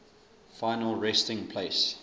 final resting place